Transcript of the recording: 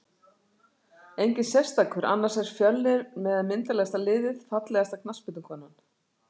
Enginn sérstakur annars er fjölnir með myndarlegasta liðið Fallegasta knattspyrnukonan?